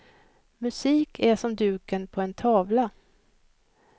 Musik är som duken på en tavla.